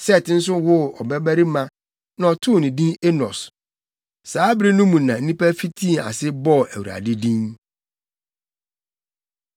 Set nso woo ɔbabarima na ɔtoo no din Enos. Saa bere no mu na nnipa fitii ase bɔɔ Awurade din.